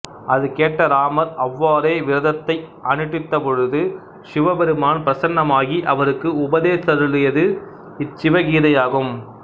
அதுகேட்ட இராமர் அவ்வாறே விரதத்தை அனுட்டித்தபொழுது சிவபெருமான் பிரசன்னமாகி அவருக்கு உபதேசித்தருளியது இச் சிவகீதையாகும்